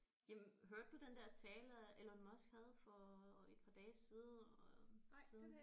Jamen hørte du den der tale Elon Musk havde for et par dage siden øh siden